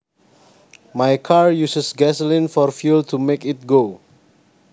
My car uses gasoline for fuel to make it go